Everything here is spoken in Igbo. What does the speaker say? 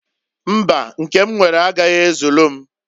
Mbaǃ Nke m nwere agaghi ezulu m.